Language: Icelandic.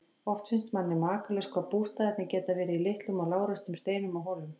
Oft finnst manni makalaust hvað bústaðirnir geta verið í litlum og lágreistum steinum og hólum.